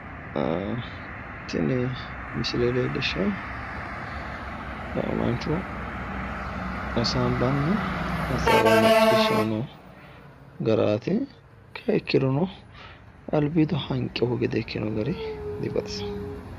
tini misile leellishaahu lame mancho hasaawa hasaambanna hasaawa macciishshanni noo garaati ikkiha ikkirono dibaxisanno.